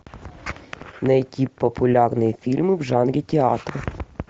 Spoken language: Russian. найти популярные фильмы в жанре театр